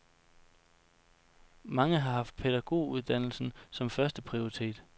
Mange har haft pædagoguddannelsen som første prioritet.